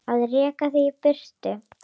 Að reka þig í burtu!